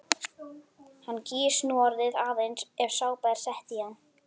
Hann gýs núorðið aðeins ef sápa er sett í hann.